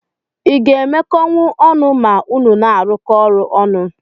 Iga emekọnwu ọnụ ma unu na arụkọ ọrụ ọnụ?